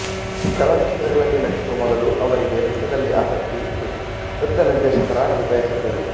ಚಲನಚಿತ್ರಗಳಲ್ಲಿ ನಟಿಸುವ ಮೊದಲು ಅವರಿಗೆ ನೃತ್ಯದಲ್ಲಿ ಆಸಕ್ತಿ ಇತ್ತು ನೃತ್ಯ ನಿದೇಶಕರಾಗಲು ಬಯಸಿದ್ದರು